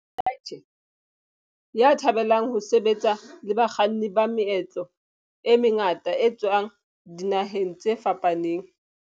Mdletshe, ya thabelang ho sebetsa le bakganni ba meetlo e mengata ba tswang dinaheng tse fapaneng.